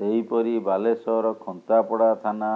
ସେହିପରି ବାଲେଶ୍ୱର ଖନ୍ତାପଡା ଥାନା